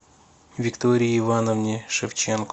виктории ивановне шевченко